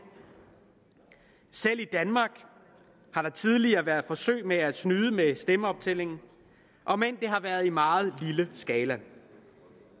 selv i danmark har der tidligere været forsøg med at snyde med stemmeoptællingen om end det har været i meget lille skala